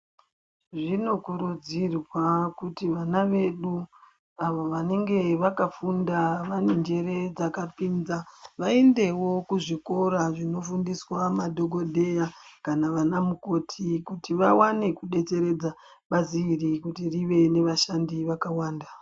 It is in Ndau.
Zvinokurudzirwa kuti vana vedu avo vanenge vakafunda vane njere dzakapinza vaendevo kuzvikora zvinofundiswa madhogodheya kana vana mukoti. Kuti vavane kubetseredza bazi iri kuti rive nevashandi vakawanda.